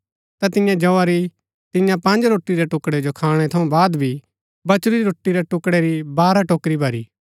ता तियें जौआ री तियां पँज रोटी रै टुकड़ै जो खाणै थऊँ बाद भी बचुरी रोटी रै टुकड़ै री बारह टोकरी भरी